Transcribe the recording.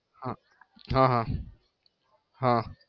હા હા હા હા